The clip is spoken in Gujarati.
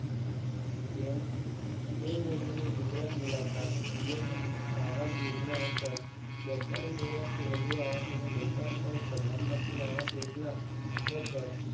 પ્મ PM મોદીને ગુજરાત મુલાકાત PM આવાસ યોજના હેઠળ બેતાળીસ હજારથી વધુ આવા સોનું લોકાર્પણ. પ્રધાનમંત્રી આવાસ યોજના હેઠળ